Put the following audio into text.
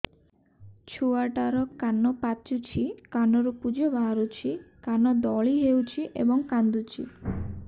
ଛୁଆ ଟା ର କାନ ପାଚୁଛି କାନରୁ ପୂଜ ବାହାରୁଛି କାନ ଦଳି ହେଉଛି ଏବଂ କାନ୍ଦୁଚି